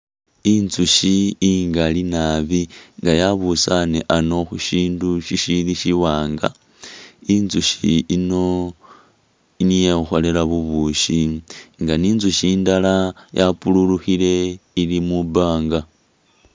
Intsukhi ingali nabi nga yabusane ano khushindu shishili shiwanga intsukhi ino niyo ikhukholela bubushi nga intsukhi indala yapururukhile ili mubanga.